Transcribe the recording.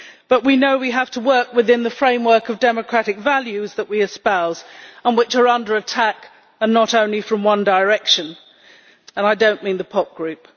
But we know we have to work within the framework of the democratic values that we espouse and which are under attack, and not only from one direction and I do not mean the pop group.